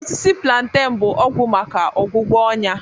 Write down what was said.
Osisi plantain bụ ọgwụ maka ọgwụgwọ ọnya